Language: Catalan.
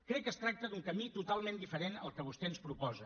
crec que es tracta d’un camí totalment diferent del que vostè ens proposa